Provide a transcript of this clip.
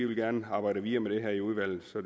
vi gerne vil arbejde videre med det her i udvalget